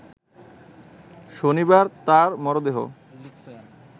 শনিবার তাঁর মরদেহ